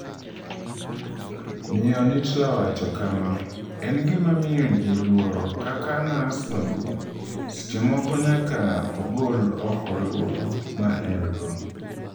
Miyo Nittla wacho kama: “En gima miyo ji luoro, kaka nas maduong’, seche moko nyaka ogol oko luoro ma en-go.